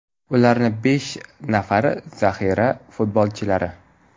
Ularni besh nafari zaxira futbolchilari.